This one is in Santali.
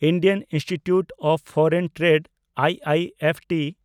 Indian institute of foreign trade (IIFT)